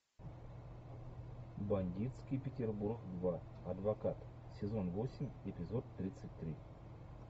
бандитский петербург два адвокат сезон восемь эпизод тридцать три